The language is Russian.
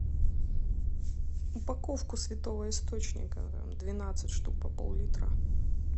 упаковку святого источника двенадцать штук по пол литра